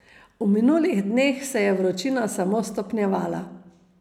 V minulih dneh se je vročina samo stopnjevala.